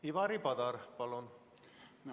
Ivari Padar, palun!